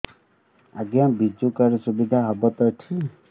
ଆଜ୍ଞା ବିଜୁ କାର୍ଡ ସୁବିଧା ହବ ତ ଏଠି